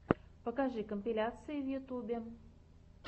покажи компиляции в ютюбе